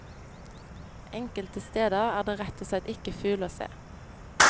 Enkelte steder er det rett og slett ikke fugl å se.